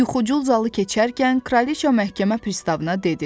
Yuxucul zalı keçərkən Kraliça məhkəmə pristavına dedi: